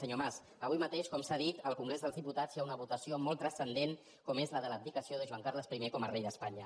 senyor mas avui mateix com s’ha dit al congrés dels diputats hi ha una votació molt transcendent com és la de l’abdicació de joan carles i com a rei d’espanya